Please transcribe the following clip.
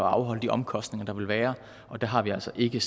afholde de omkostninger der vil være og der har vi altså ikke